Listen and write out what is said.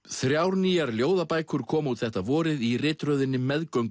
þrjár nýjar ljóðabækur koma út þetta vorið í ritröðinni